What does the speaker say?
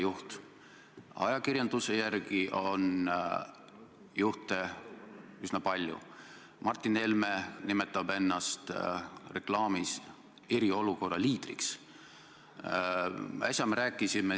Sinna taha on tegelikult ju koondunud palju suurem hulk organisatsioone ja see puudutab palju suuremat ringi mittetulundusühinguid.